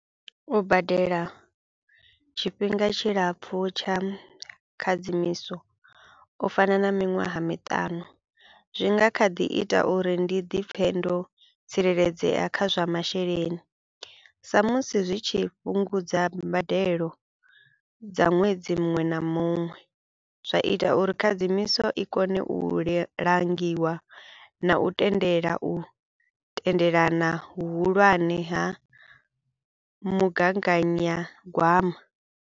U badela tshifhinga tshilapfu tsha khadzimiso u fana na miṅwaha miṱanu, zwi nga kha ḓi ita uri ndi dipfhe ndo tsireledzea kha zwa masheleni sa musi zwi tshi fhungudza mbadelo dza ṅwedzi muṅwe na muṅwe zwa ita uri khadzimiso i kone u le langiwa nga u tendela u tendelana vhuhulwane ha mugaganyagwama.